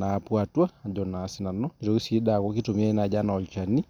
napuo atua Ajo naa sinanu nitokii aku kitumiai enaa olchani